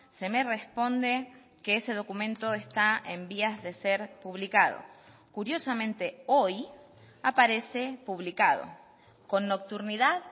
se me responde que ese documento está en vías de ser publicado curiosamente hoy aparece publicado con nocturnidad